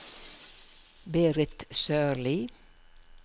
Berit Sørli